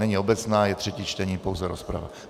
Není obecná, je třetí čtení, pouze rozprava.